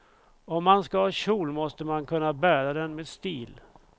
Om man ska ha kjol måste man kunna bära den med stil.